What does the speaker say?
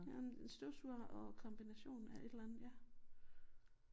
Jamen en støvsuger og kombination af et eller andet ja